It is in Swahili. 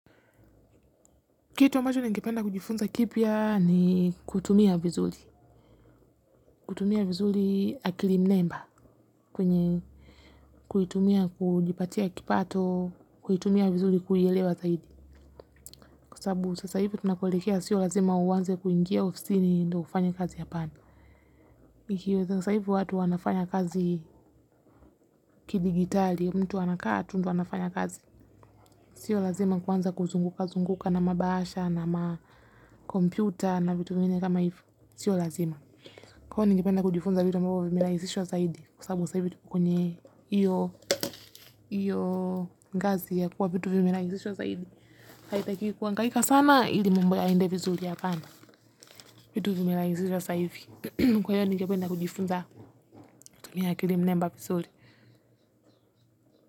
Kitu ambacho ni ngependa kujifunza kipia ni kutumia vizuri. Kutumia vizuri akilim nemba kwenye kuitumia kujipatia kipato, kuitumia vizuri kuyelewa zaidi. Kusabu sasa hivi tunakolekea sio lazima uwanze kuingia oficini ndo ufanya kazi hapana. Mikiwe sasa hivi watu wanafanya kazi kidigitali, mtu ana kaa tu ndu wanafanya kazi. Sio lazima kuanza kuzungukazunguka na mabahasha, na makompyuta na vitu vingine kama hivo. Sio lazima. Kwa hiyo ningependa kujifunza vitu ambavyo vimerahisishwa zaidi kwa sababu sasa hivi vitu kwenye hiyo hiyo ngazi ya kuwa vitu vimerahisishwa zaidi. Haitakiwi kuhangaika sana ili mambo yaende vizuri hapana. Vitu zimerahisishwa sasa hivi. Kwa hiyo ningependa kujifunza kutumia akili namba kuzuri.